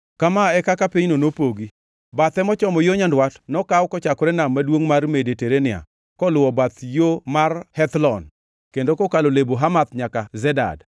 “Kama e kaka pinyno nopogi: “Bathe mochomo yo nyandwat nokaw kochakore Nam maduongʼ mar Mediterania koluwo bath yo mar Hethlon kendo kokalo Lebo Hamath nyaka Zedad,